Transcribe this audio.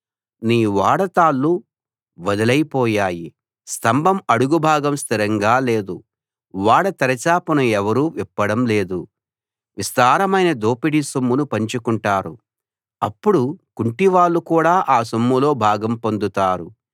నీ ఓడ తాళ్లు వదులై పోయాయి స్తంభం అడుగు భాగం స్థిరంగా లేదు ఓడ తెరచాపను ఎవరూ విప్పడం లేదు విస్తారమైన దోపిడీ సొమ్మును పంచుకుంటారు అప్పుడు కుంటి వాళ్ళు కూడా ఆ సొమ్ములో భాగం పొందుతారు